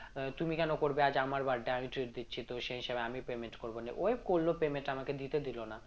আহ তুমি কেন করবে আজ আমার birthday আমি treat দিচ্ছি তো সেই হিসেবে আমি payment করবো নিয়ে ওই করল payment আমাকে দিতে দিল না